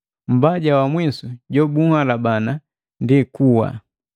Mbaja wa mwisu jobuhalabana ndi kuwa.